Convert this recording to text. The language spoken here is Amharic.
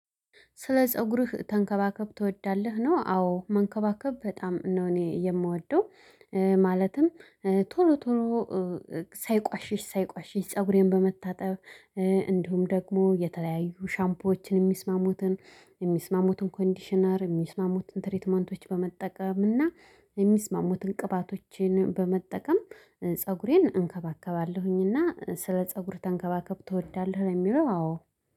ስለ ፀጉርህ ተንከባከብ ትወዳለህ ነው? አዎ መንከባከብ በጣም ነው። እኔ የምወደው። ማለትም ቶሎ ቶሎ ሳይቆሽሽ ሳይቆሽሽ ፀጉሬን በመታጠብ። እንዲሁም ደግሞ የተለያዩ ሻምፖዎችን የሚስማሙትን የሚስማሙትን ኮንዲሽነር የሚስማሙትን ትሪትመንቶች በመጠቀም እና የሚስማሙትን ቅባቶችን በመጠቀም ፀጉሬን እንከባከባለሁኝ። እና ስለ ፀጉር ተንከባከብ ትወዳለህ? የሚለው አዎ